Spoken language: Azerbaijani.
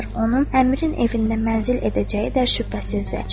Onun Əmirin evində mənzil edəcəyi də şübhəsizdir.